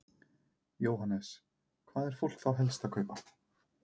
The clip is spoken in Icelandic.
Jóhannes: Hvað er fólk þá helst að kaupa?